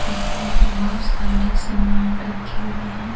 उसमें बहुत सारे सामान रखे हुए हैं।